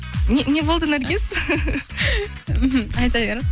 не болды наргиз мхм айта бер